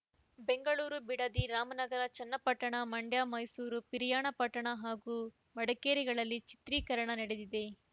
ಬೆಂಗಳೂರು ಬಿಡದಿ ರಾಮನಗರ ಚನ್ನಪಟ್ಟಣ ಮಂಡ್ಯ ಮೈಸೂರು ಪಿರಿಯಾಪಟ್ಟಣ ಹಾಗೂ ಮಡಿಕೇರಿಗಳಲ್ಲಿ ಚಿತ್ರೀಕರಣ ನಡೆದಿದೆ